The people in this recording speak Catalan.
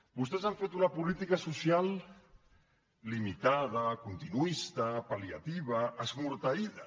vostès han fet una política social limitada continuista pal·liativa esmorteïda